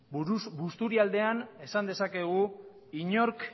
busturialdean esan dezakegu inork